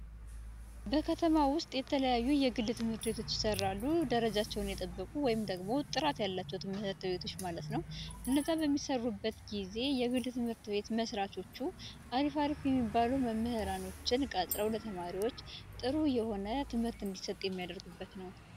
በከተማ ውስጥ የተለያዩ የግል ትምህርት ቤቶች ይሰራሉ። ደረጃቸውን የጠበቁ ወይም ደግሞ ጥራት ያላቸው ትምህርት ቤቶች ማለት ነው። እነዚያ በሚሰሩበት ጊዜ የግል ትምህርት ቤት ምስራቾቹ አሪፍ አሪፍ የሚባሉ መምህራንን ቀጥረው ለተማሪዎች ጥሩ የሆነ ትምህርት እንዲሰጥ የሚያደርጉበት ነው።